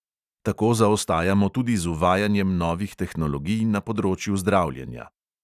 Tako zaostajamo tudi z uvajanjem novih tehnologij na področju zdravljenja.